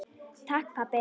Takk, pabbi.